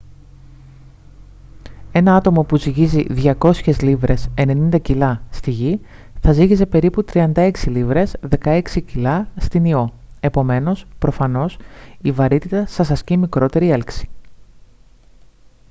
ένα άτομο που ζυγίζει 200 λίβρες 90 κιλά στη γη θα ζύγιζε περίπου 36 λίβρες 16 κιλά στην ιώ. επομένως προφανώς η βαρύτητα σας ασκεί μικρότερη έλξη